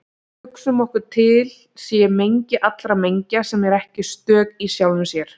Hugsum okkur að til sé mengi allra mengja sem eru ekki stök í sjálfum sér.